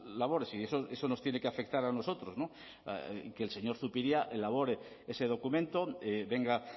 labores y eso nos tiene que afectar a nosotros que el señor zupiria elabore ese documento venga